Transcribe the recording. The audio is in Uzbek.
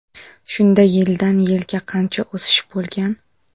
Shunda yildan yilga qancha o‘sish bo‘lgan?